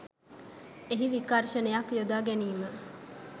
එහි විකර්ශනයක් යොදා ගැනීම